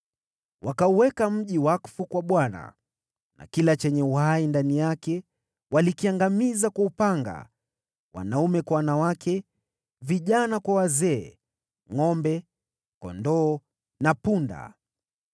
Wakauweka mji wakfu kwa Bwana , na kila chenye uhai ndani yake walikiangamiza kwa upanga, wanaume kwa wanawake, vijana kwa wazee, ngʼombe, kondoo na punda.